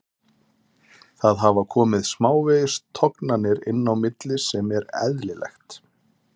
Það hafa komið smávegis tognanir inn á milli sem er eðlilegt.